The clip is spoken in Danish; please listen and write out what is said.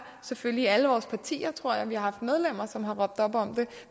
selvfølgelig i alle vores partier tror jeg haft medlemmer som har råbt op om det